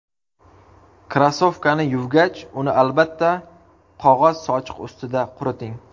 Krossovkani yuvgach, uni albatta qog‘oz sochiq ustida quriting.